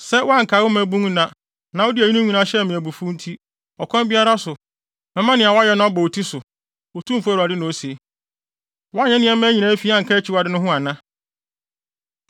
“ ‘Sɛ woankae wo mmabun nna, na wode eyinom nyinaa hyɛɛ me abufuw nti, ɔkwan biara so mɛma nea woayɛ no abɔ wo ti so, Otumfo Awurade na ose. Woanyɛ nneɛma fi anka akyiwade no ho ana?